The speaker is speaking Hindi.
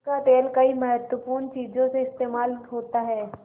उसका तेल कई महत्वपूर्ण चीज़ों में इस्तेमाल होता है